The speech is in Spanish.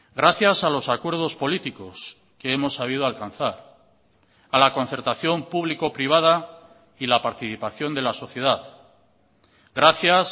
gracias a los acuerdos políticos que hemos sabido alcanzar a la concertación público privada y la participación de la sociedad gracias